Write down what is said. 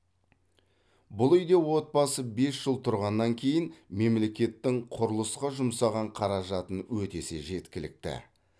бұл үйде отбасы бес жыл тұрғаннан кейін мемлекеттің құрылысқа жұмсаған қаражатын өтесе жеткілікті